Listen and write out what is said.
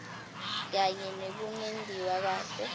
kanye nekungentiwa kahle